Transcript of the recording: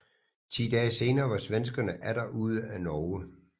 Ti dage senere var svenskerne atter ude af Norge